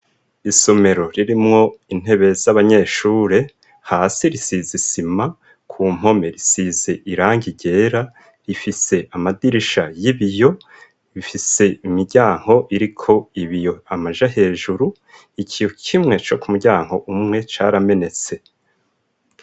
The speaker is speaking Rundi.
Isomero ririmwo intebe z'abanyeshure, hasi risize isima, ku mpome risize irangi ryera, rifise amadirisha y'ibiyo, bifise imiryango iriko ibiyo amaja hejuru, ikiyo kimwe co ku muryango umwe caramenetse.